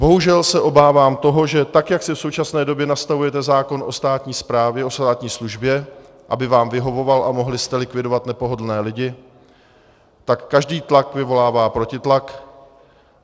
Bohužel se obávám toho, že tak, jak si v současné době nastavujete zákon o státní správě, o státní službě, aby vám vyhovoval a mohli jste likvidovat nepohodlné lidi, tak každý tlak vyvolává protitlak.